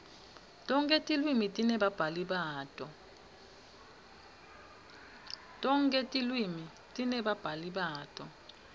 tonkhe tilwimi tinebabhali bato